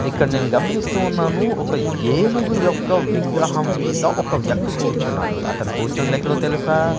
ఇక్కడ నేను గమనిస్తూ ఉన్నాను ఒక ఏనుగు యొక్క విగ్రహం మీద ఒక వ్యక్తి కూర్చున్నాడు అతను కూర్చుంది ఎక్కడో తెలుసా?